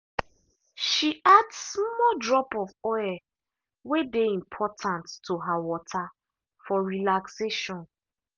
she add small drop of oil way dey important to her water for relaxation.